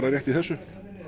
rétt í þessu